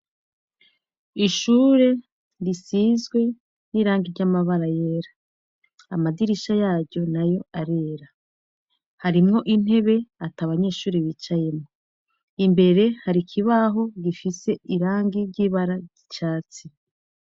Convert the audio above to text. Ishure risizwe n'irangi ry'amabara yera amadirisha yayo na yo arera harimwo intebe ata abanyeshuri bicayemwo imbere harikibaho gifise irangi ry'ibara ryicatsi.